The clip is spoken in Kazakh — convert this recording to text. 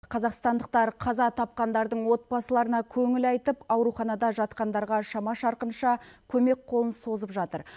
қазақстандықтар қаза тапқандардың отбасыларына көңіл айтып ауруханада жатқандарға шама шарқынша көмек қолын созып жатыр